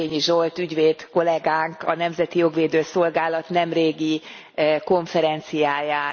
Zétényi Zsolt ügyvéd kollégánk a Nemzeti Jogvédő Szolgálat nemrégi konferenciáján.